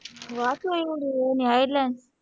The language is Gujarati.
પાછું એવું હોય